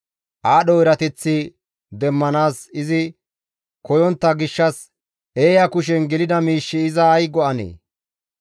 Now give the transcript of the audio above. Aadho erateththi demmanaas izi koyontta gishshas eeya kushen gelida miish iza ay go7anee?